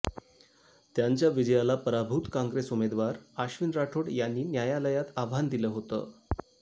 त्यांच्या विजयाला पराभूत काँग्रेस उमेदवार आश्विन राठोड यांनी न्यायालयात आव्हान दिलं होतं